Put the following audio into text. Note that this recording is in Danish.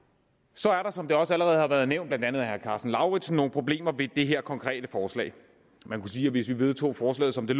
så er der som det også allerede har været nævnt blandt andet af herre karsten lauritzen nogle problemer ved det her konkrete forslag man kunne sige at hvis vi vedtog forslaget som det